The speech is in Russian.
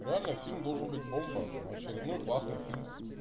реально фильм должен быть бомба но очередной классный фильм